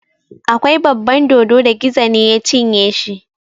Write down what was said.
Akwai baban dodo da Gizo ne ya cinye shi.